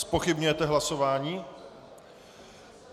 Zpochybňujete hlasování?